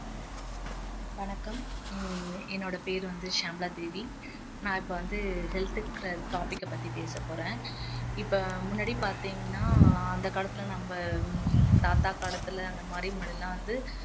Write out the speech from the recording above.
வணக்கம் ஹம் என்னோட பெயர் வந்து ஷியாமளா தேவி நான் இப்போ வந்து health ங்குற topic அ பத்தி பேசப்போறேன் இப்போ முன்னாடி பாத்திங்கன்னா அந்த காலத்துல நம்ம ஹம் தாத்தா காலத்துல அந்த மாதிரி முன்னாடி எல்லாம் வந்து